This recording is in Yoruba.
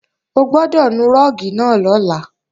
O gbọ́dọ̀ nu rúùgì náà lọ́la